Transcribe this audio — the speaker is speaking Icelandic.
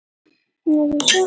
En hvert vastu að fara?